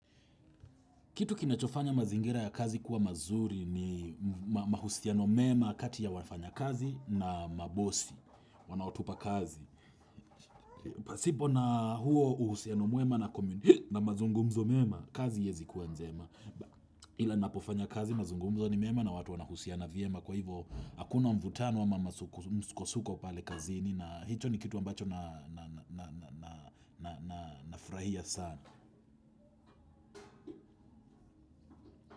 Kitu kinachofanya mazingira ya kazi kuwa mazuri ni mahusiano mema kati ya wafanyakazi na mabosi wanaotupa kazi. Pasipo na huo uhusiano mwema na mazungumzo mema, kazi haiwezi kuwa njema. Ila napofanya kazi mazungumzo ni mema na watu wanahusiana vyema kwa hivo hakuna mvutano ama msukosuko pale kazini na hicho ni kitu ambacho na furahia sana.